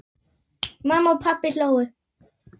Mamma og pabbi hlógu.